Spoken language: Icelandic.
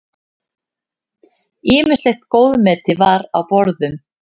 Ýmislegt góðmeti var á borðum.